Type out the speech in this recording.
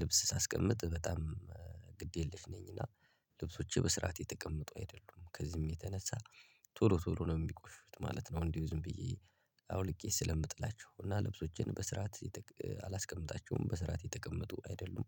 ልብስ ሳስቀምጥ በጣም ግድ የለሽ ነኝ እና ልብሶቼ በስራት የተቀመጡ አይደሉም። ከዚህም የተነሳ ቶሎ ቶሎ ነው እሚቆሹት ማለት ነው። እንዲሁ ዝም ብዬ አውልቄ ስለምጥላቸው እና ልብሶቼን በስርዓት አላስቀምጣቸውም በስራት የተቀመጡ አይደሉም።